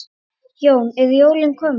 Jón: Eru jólin komin?